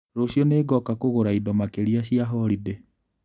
Rũciũ nĩngoka kũgũra indo makĩria cia holidĩ.